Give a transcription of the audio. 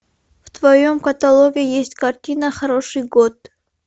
в твоем каталоге есть картина хороший год